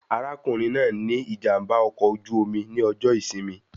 Arákùnrin náà ní ìjàmbá ọkọ̀ oju-omi ní ọjọ ìsinmi